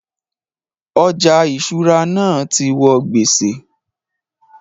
Ọjà ìṣúra náà ti wọ gbèsè